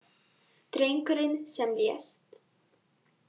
Drengurinn sem lést